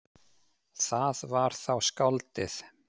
Það var þá skáldið.